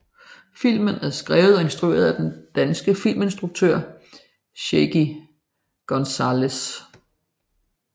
Filmen er skrevet og instrueret af den danske filminstruktør Shaky González